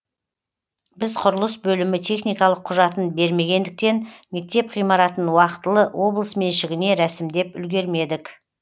біз құрылыс бөлімі техникалық құжатын бермегендіктен мектеп ғимаратын уақытылы облыс меншігіне рәсімдеп үлгермедік